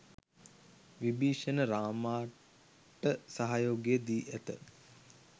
විභිශණ රාමාට සහයෝගය දි ඇත